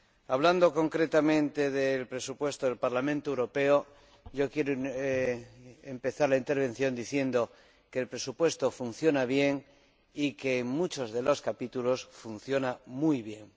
Hablando concretamente del presupuesto del Parlamento Europeo, quiero empezar la intervención diciendo que el presupuesto funciona bien y que en muchos de los capítulos funciona muy bien.